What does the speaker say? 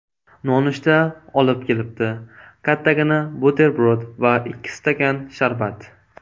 Nonushta olib kelibdi: kattagina buterbrod va ikki stakan sharbat.